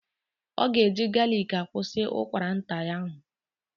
Ọ ga-eji galiki akwusi ụkwara nta ya ahụ.